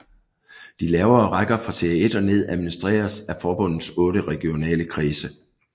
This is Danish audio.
De lavere rækker fra Serie 1 og ned administreres af forbundets otte regionale kredse